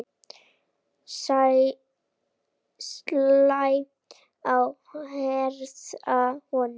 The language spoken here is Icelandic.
Slæ á herðar honum.